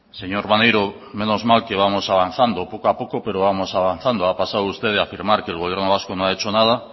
señor maneiro menos mal que vamos avanzando poco a poco pero vamos avanzando ha pasado usted de afirmar que el gobierno vasco no ha hecho nada